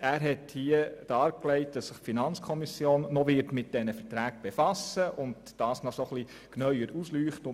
Er hat dargelegt, dass sich die FiKo noch mit diesen Verträgen befassen und sie etwas genauer ausleuchten wird.